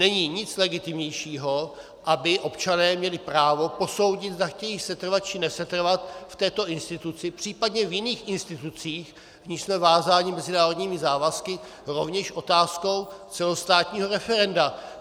Není nic legitimnějšího, aby občané měli právo posoudit, zda chtějí setrvat či nesetrvat v této instituci, případně v jiných institucích, v nichž jsme vázáni mezinárodními závazky, rovněž otázkou celostátního referenda.